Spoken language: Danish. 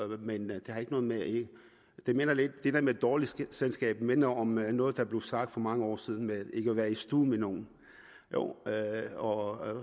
der med med et dårligt selskab minder om noget der blev sagt for mange år siden med ikke at ville være i stue med nogen og